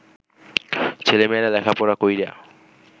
ছেলেমেয়েরা লেখাপড়া কইরা